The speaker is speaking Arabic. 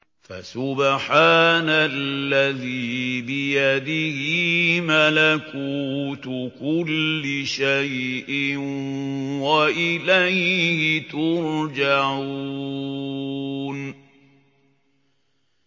فَسُبْحَانَ الَّذِي بِيَدِهِ مَلَكُوتُ كُلِّ شَيْءٍ وَإِلَيْهِ تُرْجَعُونَ